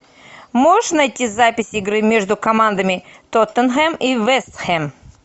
можешь найти запись игры между командами тоттенхэм и вест хэм